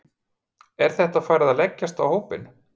Er þetta farið að leggjast á hópinn?